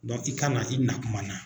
i ka na i na kuma na